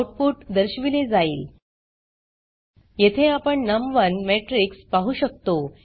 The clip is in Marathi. आउटपुट दर्शविले जाईल येथे आपण नम1 मॅट्रिक्स पाहु शकतो